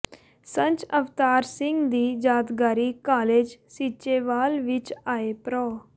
ਸੰਤ ਅਵਤਾਰ ਸਿੰਘ ਜੀ ਯਾਦਗਾਰੀ ਕਾਲਜ ਸੀਚੇਵਾਲ ਵਿੱਚ ਆਏ ਪ੍ਰੋ